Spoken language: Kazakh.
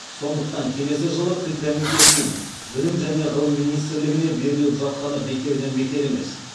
сондықтан келесі жылы тіл комитетінің білім және ғылым министрлігіне беріліп жатқаны бекерден бекер емес